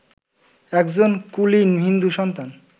একজন কুলীন হিন্দু-সন্তান